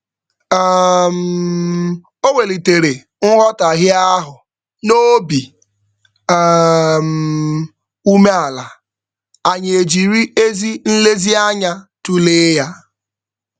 um O welitere nghọtaghie ahụ n'obi um umeala, anyị ejiri ezi nlezianya tụlee ya.